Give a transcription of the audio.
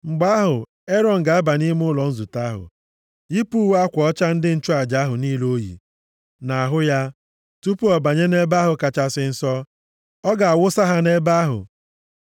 “Mgbe ahụ, Erọn ga-aba nʼime ụlọ nzute ahụ, + 16:23 \+xt Izk 42:14\+xt* yipụ uwe akwa ọcha ndị nchụaja ahụ niile o yi nʼahụ ya tupu ọ banye nʼEbe ahụ Kachasị Nsọ. Ọ ga-awụsa ha nʼebe ahụ.